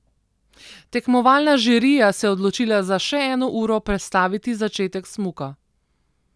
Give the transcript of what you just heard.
Tekmovalna žirija se je odločila za še eno uro prestaviti začetek smuka.